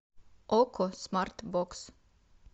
окко смарт бокс